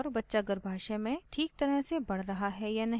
बच्चा गर्भाशय में ठीक तरह से बढ़ रहा है या नहीं